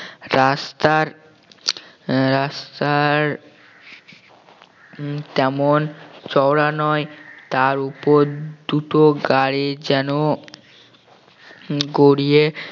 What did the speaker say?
রাস্তার আহ রাস্তার উম তেমন চওড়া নয় তার উপর দুটো গাড়ি যেন গড়িয়ে